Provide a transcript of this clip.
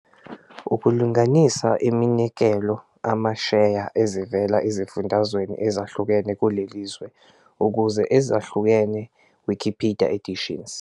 Ukulinganisa eminikelo amasheya ezivela ezifundazweni ezahlukene kuleli zwe ukuze ezahlukene Wikipedia editions